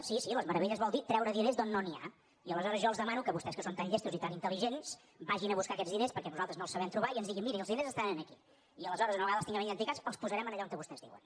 sí sí les meravelles vol dir treure diners d’on no n’hi ha i aleshores jo els demano que vostès que són tan llestos i tan intel·ligents vagin a buscar aquests diners perquè nosaltres no els sabem trobar i ens diguin miri els diners estan aquí i aleshores una vegada els tinguem identificats els posarem allà on vostès diuen